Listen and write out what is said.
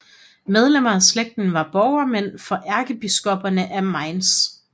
Medlemmer af slægten var borgmænd for ærkebiskopperne af Mainz